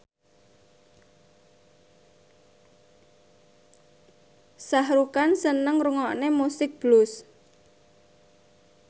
Shah Rukh Khan seneng ngrungokne musik blues